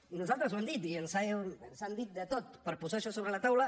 i nosaltres ho hem dit i ens han dit de tot per posar això sobre la taula